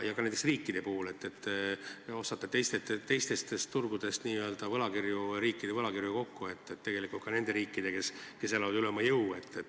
Ja ka näiteks riikide puhul – te ostate teistelt turgudelt riikide võlakirju kokku, ka nende riikide omi, kes elavad üle oma jõu.